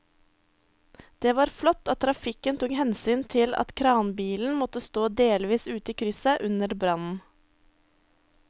Det var flott at trafikken tok hensyn til at kranbilen måtte stå delvis ute i krysset under brannen.